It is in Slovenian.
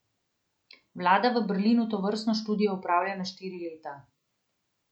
Vlada v Berlinu tovrstno študijo opravlja na štiri leta.